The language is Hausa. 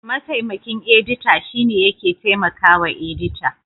Mataimakin edita shine yake taimakawa edita.